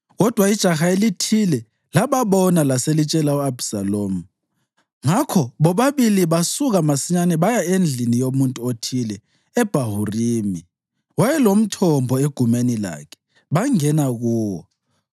Kodwa ijaha elithile lababona laselitshela u-Abhisalomu. Ngakho bobabili basuka masinyane baya endlini yomuntu othile eBhahurimi. Wayelomthombo egumeni lakhe, bangena kuwo.